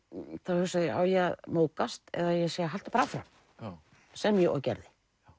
hugsa ég á ég að móðgast eða segja haltu bara áfram sem ég og gerði